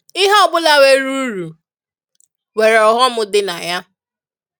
ịhe ọbụla nwere ụrụ, nwere ọghọm dị na ya.